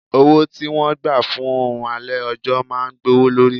Owó tí wọ́n gbà fún oòrùn alẹ́ ọjọ́ máa gbówó lórí.